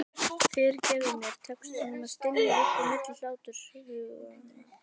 Fyrirgefðu mér, tekst honum að stynja upp á milli hlátursgusanna.